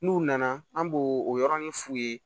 N'u nana an b'o o yɔrɔnin f'u ye